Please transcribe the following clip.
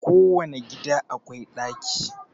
Kowane gida akwai daki